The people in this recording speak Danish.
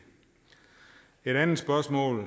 andet spørgsmål